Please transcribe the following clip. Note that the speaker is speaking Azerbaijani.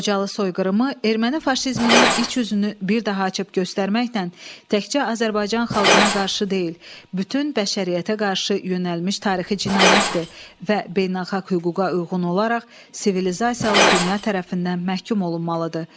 Xocalı soyqırımı erməni faşizminin iç üzünü bir daha açıb göstərməklə təkcə Azərbaycan xalqına qarşı deyil, bütün bəşəriyyətə qarşı yönəlmiş tarixi cinayətdir və beynəlxalq hüquqa uyğun olaraq sivilizasiyalı dünya tərəfindən məhkum olunmalıdır.